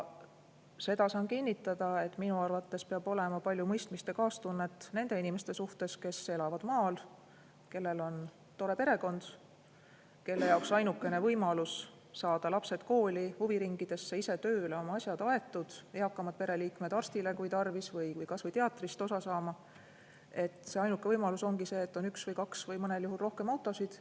Seda saan kinnitada, et minu arvates peab olema palju mõistmist ja kaastunnet nende inimeste vastu, kes elavad maal, kellel on tore perekond, kelle jaoks ainukene võimalus saada lapsed kooli, huviringidesse, ise tööle, oma asjad aetud, eakamad pereliikmed arstile, kui on tarvis, või kas või teatrist osa saama, ongi see, et on üks või kaks või mõnel juhul rohkem autosid.